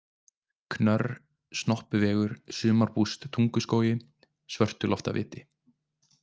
Knörr, Snoppuvegur, Sumarbúst Tunguskógi, Svörtuloftaviti